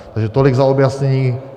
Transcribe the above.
Takže tolik za objasnění.